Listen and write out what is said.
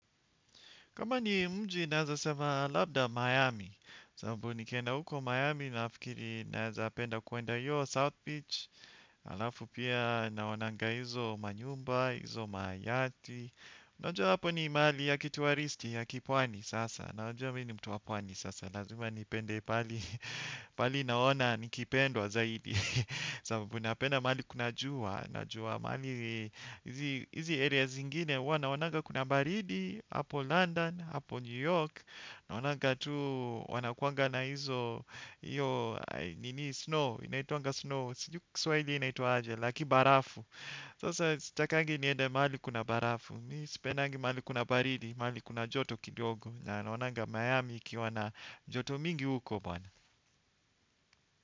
Kama ni mji naeza sema labda Miami, sababu nikienda huko Miami nafikiri naeza penda kwenda hiyo South Beach. Halafu pia naonanga hizo manyumba, hizo mayati. Unajua hapo ni mali ya kituwaristi ya kipwani sasa. Unajua mi ni mtu wa pwani sasa. Lazima nipende pahali naona nikipendwa zaidi. Sababu napenda mahali kuna jua najua mahali hizi areas zingine huwa naonanga kuna baridi hapo London, hapo New York naonanga tu wanakuanga na hizo nini snow, inaitwanga snow sijui kwa kiswahili inaitwa aje, la kibarafu sasa sitakangi niende mahali kuna barafu mi sipendangi mahali kuna baridi, mahali kuna joto kidogo naonanga Miami ikiwa na joto mingi uko bwana.